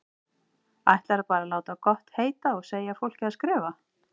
Ætlarðu bara að láta gott heita að segja fólki að skrifa!